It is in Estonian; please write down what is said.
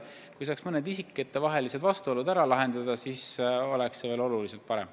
Kui saaks isikutevahelised vastuolud lahendatud, siis oleks olukord veel parem.